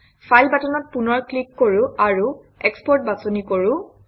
file বাটনত পুনৰ click কৰোঁ আৰু এক্সপোৰ্ট বাছনি কৰোঁ